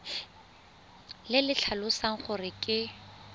le le tlhalosang gore ke